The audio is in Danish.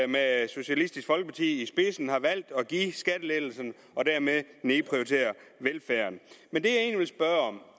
med socialistisk folkeparti i spidsen har valgt at give skattelettelserne og dermed nedprioritere velfærden men det